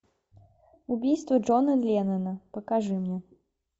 убийство джона леннона покажи мне